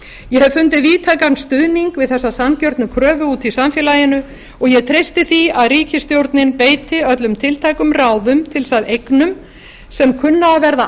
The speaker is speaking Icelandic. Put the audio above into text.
ég hef fundið víðtækan stuðning við þessa sanngjörnu kröfu úti í samfélaginu og ég treysti því að ríkisstjórnin beiti öllum tiltækum ráðum til þess að eignum sem kunna að verða